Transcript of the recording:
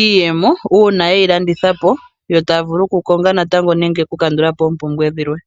iiyemo uuna yeyi landithapo yo taya vulu oku konga natango nenge oku kandulapo oompumbwe dhimwe.